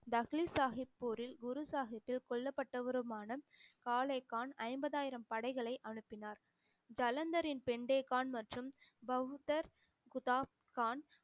தக்லீத் சாஹிப் போரில் குரு கொல்லப்பட்டவருமான காலே கான் ஐம்பதாயிரம் படைகளை அனுப்பினார் ஜலந்தரின் பெண்டே கான் மற்றும் பவுத்தர் குத்தாப் கான்